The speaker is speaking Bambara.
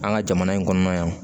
An ka jamana in kɔnɔ yan